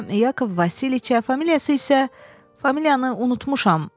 Yakov Vasiliça, familiyası isə familiyanı unutmuşam.